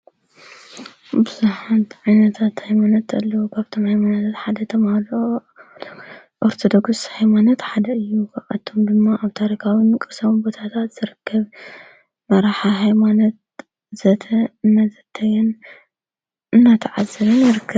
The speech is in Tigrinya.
ብዙሓት ዒይነታእ ኣይሞነት እጠልዉ ቓብቶም ኣይማነዘት ሓደ ተምውልኦሎ ወርተ ደጉሥ ኃይማነት ሓደ እዩ ኣቶም ድማ ኣብ ታሪካዉን ቅሳሙ ቦታታት ዘርከብ መራሓ ሃይማነት ዘተ መዘተየን እናተዓዝርን ነርክብ።